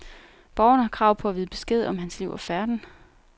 Borgerne har krav på at vide besked om hans liv og færden.